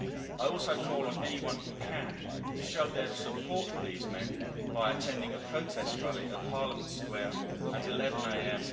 I also call on anyone who can, to show their support for these men by attending a protest rally at Parliament Square at 11a.m.